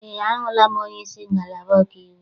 Eé, ahụla m onyeisi ngalaba ọkaiwu.